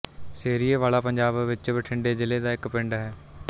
ਸਿਰੀਏਵਾਲਾ ਪੰਜਾਬ ਵਿੱਚ ਬਠਿੰਡੇ ਜ਼ਿਲ੍ਹੇ ਦਾ ਇੱਕ ਪਿੰਡ ਹੈ